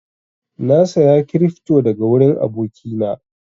Na saya cryfto daga wurin aboki na